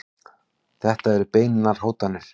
Þetta eru beinar hótanir.